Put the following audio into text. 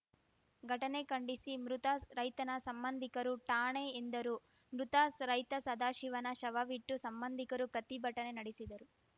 ಘಟನೆ ಖಂಡಿಸಿ ಮೃತ ರೈತನ ಸಂಬಂಧಿಕರು ಠಾಣೆ ಎದಂರು ಮೃತ ಸ ರೈತ ಸದಾಶಿವನ ಶವವಿಟ್ಟು ಸಂಬಂಧಿಕರು ಪ್ರತಿಭಟನೆ ನಡೆಸಿದರು